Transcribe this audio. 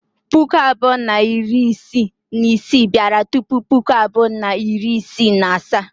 Puku abụọ na iri isii na isii bịara tupu Puku abụọ na iri isii na asaa.